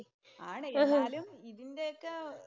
ആണ് എന്നാലും ഇതിന്‍റെ ഒക്കെ